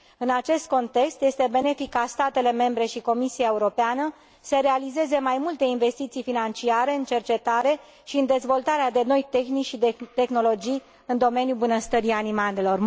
În acest context, este benefic ca statele membre și Comisia Europeană să realizeze mai multe investiții financiare în cercetare și în dezvoltarea de noi tehnici și de tehnologii în domeniul bunăstării animalelor.